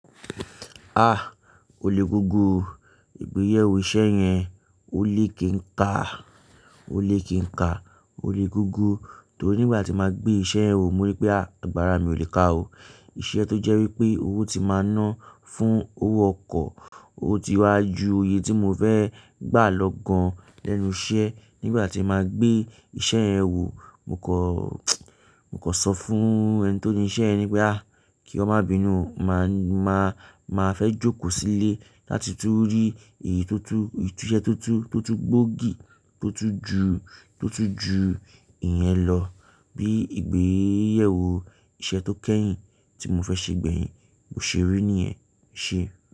Ah! Ole gúgú o, ìgbéyẹ̀wò iṣẹ́ yẹn, ó lé kí n ka, ó lé kí n ka, ó lé gúgú. Torí nígbà tí màá gbé iṣẹ́ ẹ wò mo rí pé àgbàrá mi ò lè ka o. Iṣẹ́ tó jẹ́ wípé owó tí máa ná fún owó ọkọ̀. Ó ti wa ju iye tí mo fẹ́ gbà lọ gan lẹ́nu iṣẹ́. Nígbà tí màá gbé iṣẹ́ ẹ wò, mo kọ, mo kọ sọ fún ẹni tó ni iṣẹ́ ẹ ní pé "àá, kí ọ má bínú o, màá, màá, màá fẹ́ jókòó sílè láti tún rí èyí tó tú, ìse tó tú, tó tú gbòógì, tó tú ju, tó tú ju ìyẹn lọ." Bí ìgbéyẹ̀wò iṣẹ́ tó kẹ́yìn tí mo fẹ́ ṣe gbẹ̀yìn, mo ṣe rí nìyẹn, Eṣe.